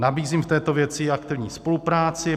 Nabízím v této věci aktivní spolupráci.